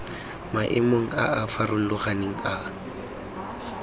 maemong a a farologaneng a